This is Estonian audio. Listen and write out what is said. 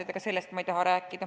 Aga mitte sellest ei taha ma rääkida.